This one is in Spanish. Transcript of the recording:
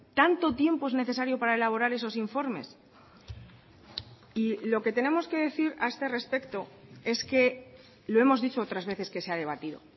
tanto tiempo es necesario para elaborar esos informes y lo que tenemos que decir a este respecto es que lo hemos dicho otras veces que se ha debatido